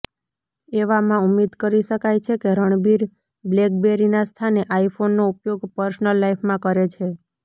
એવામાં ઉમ્મીદ કરી શકાય છે કે રણબીર બ્લેકબેરીના સ્થાને આઈફોનનો ઉપયોગ પર્સનલ લાઈફમાં કરે છે